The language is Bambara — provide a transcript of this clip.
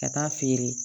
Ka taa feere